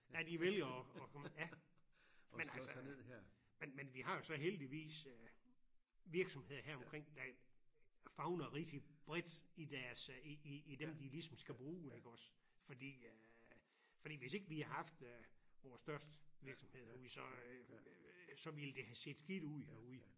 At de vælger og komme ja men altså men men vi har jo så heldigvis øh virksomheder heromkring der favner rigtig bredt i deres i i i dem de ligesom skal bruge iggås fordi øh fordi hvis ikke vi haft vores størst virksomhed herude så ville det have set skidt ud herude